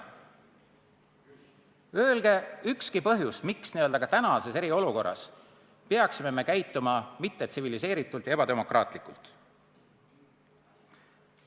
Öelge kas või üks põhjus, miks me peaksime tänases eriolukorras käituma mittetsiviliseeritult ja ebademokraatlikult.